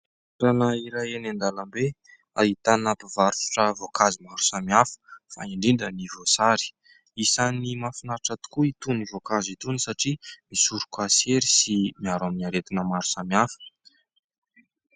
Toerana iray eny an-dalambe ahitana mpivarotra voankazo maro samihafa fa indrindra ny voasary, isany mahafinaritra tokoa itony voankazo itony satria misoroka sery sy miaro amin'ny aretina maro samihafa.